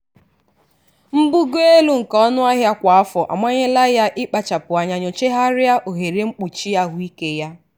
mbugo elu nke ọnụahịa kwa afọ amanyela ya ịkpachapụ anya nyochagharịa ohere mkpuchi ahụike ya.